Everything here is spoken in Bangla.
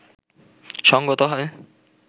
সঙ্গত হয়